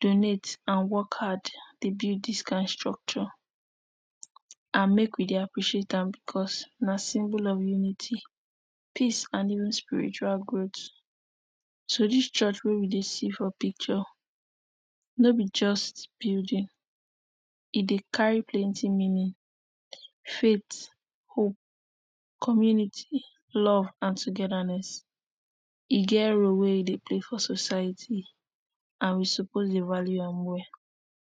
donate and work hard dey build dis kain structure and make we dey appreciate am because na symbol of unity, peace and even spiritual growth, so dis church wey we dey see for picture no be just building, e dey carry plenty meaning, faith, hope community, love and tohhetherness. E get role wey e dey play for society and we suppose dey value am well.